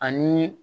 Ani